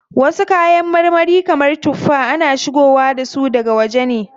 Wasu kayan marmari kamar tuffa, ana shigowa dasu daga waje ne.